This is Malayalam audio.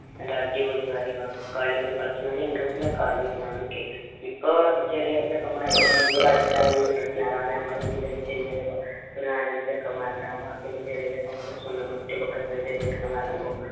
നല്ല അടിപൊളി കാര്യങ്ങൾ കളിയൊക്കെ കളിച്ചു നല്ല interest ഉള്ള കളി ആയിരുന്നു അന്നൊക്കെ ഇപ്പൊ ചെറിയ ചെക്കമ്മാര് ആവുമ്പൊ മ്മക്ക് കളിക്കാനൊരു interest ഇല്ല കാരണം നമ്മളെ age ലു ന്നു വെച്ച് കഴിഞ്ഞാല് ഒരു നാലഞ്ചു ചെക്കമ്മാര് ഉണ്ടാവുമ്പോ ആ ചെറിയ ചെറിയ ചെക്കൻ plus one ഓ plus two ലോ പഠിക്കുന്ന ചെറിയ ചെക്കന്മാറാവുമ്പോ